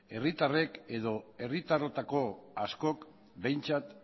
herritarrek edo herritarrotako askok behintzat